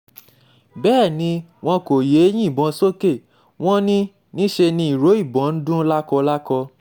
bẹ́ẹ̀ ni wọn kò yéé yìnbọn sókè wọn ní níṣẹ́ ni ìró ìbọn ń dún lákọlákọ